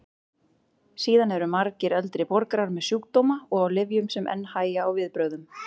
Síðan eru margir eldri borgarar með sjúkdóma og á lyfjum sem enn hægja á viðbrögðum.